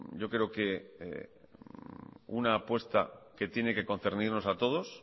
yo creo que una apuesta que tiene que concernirnos a todos